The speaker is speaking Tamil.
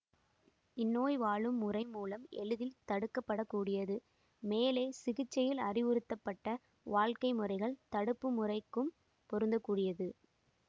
இந்நோய் வாழும் முறை மூலம் எளிதில் தடுக்கப்படக்கூடியது மேலே சிகிச்சையில் அறிவுறுத்தப்பட்ட வாழ்க்கை முறைகள் தடுப்பு முறைக்கும் பொருந்தக்கூடியது